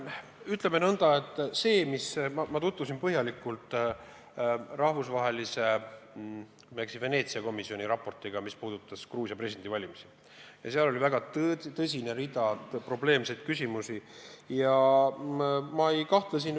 Ütleme nõnda, et ma tutvusin põhjalikult rahvusvahelise Veneetsia komisjoni raportiga, mis puudutas Gruusia presidendivalimisi, ja seal oli kirjas terve rida tõsiseid probleemseid küsimusi.